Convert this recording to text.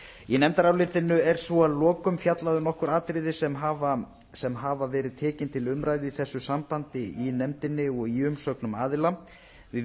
í nefndarálitinu er svo að lokum fjallað um nokkur atriði sem hafa verið tekin til umræðu í þessu sambandi í nefndinni og í umsögnum aðila við